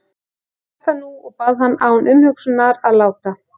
Ég hélt það nú og bað hann án umhugsunar að láta